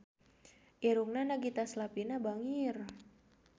Irungna Nagita Slavina bangir